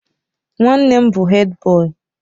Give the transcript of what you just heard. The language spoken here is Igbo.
Nwannem bu Hèdbọyi.